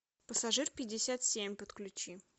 пассажир пятьдесят семь подключи